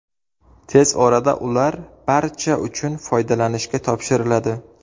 Tez orada ular barcha uchun foydalanishga topshiriladi.